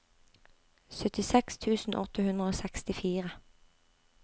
syttiseks tusen åtte hundre og sekstifire